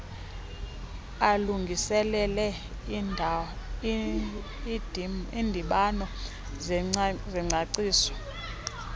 alungiselele iindibano zengcaciso